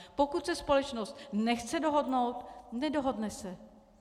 Pokud se společnost nechce dohodnout, nedohodne se.